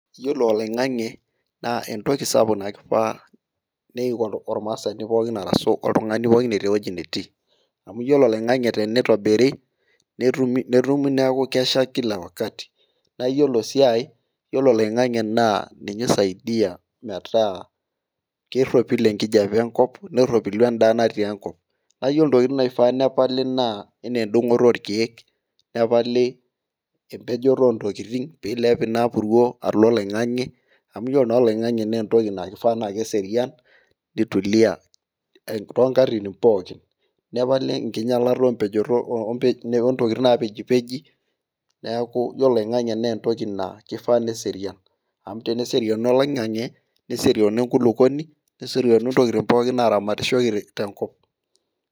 Iyiolo oloingang'e naa entoki sapuk naifaa oltungani pookin etii ewueji pookin netii, amu iyiolo oloingang'e tenitobiri, netumi neeku kesha Kila wakati naa iyiolo sii ae iyiolo oloingang'e ninye oisaidia metaa keropil enkijiape enkop, neropilu edaa natii enkop, naa iyiolo ntokitin naifaa nepali anaa edungoto orkeek, Nepali empejoto oo ntokitin peilep Ina, puruo alo oloingang'e amu iyiolo taa oloingang'e naa entoki naa kifaa naa keserian, nitulia too nkatitin pookin Nepali enkingialata ok mpejoto, ontokitin napejipeji, amu teneserianu oloingang'e neserianu enkulupuoni, neserianu ntokitin pookin naaramatishoreki tenkop.